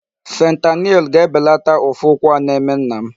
Fentanyl ga-ebelata ụfụ ụkwụ a na-eme nna m.